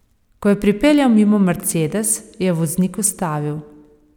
Ko je pripeljal mimo mercedes, je voznik ustavil.